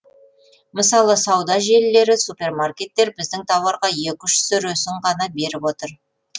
мысалы сауда желілері супермаркеттер біздің тауарға екі үш сөресін ғана беріп отыр